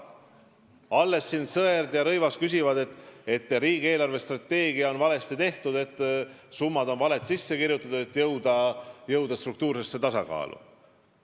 Alles siin Sõerd ja Rõivas väitsid, et riigi eelarvestrateegia on valesti tehtud, valed summad on sisse kirjutatud, et jõuda struktuursesse tasakaalu.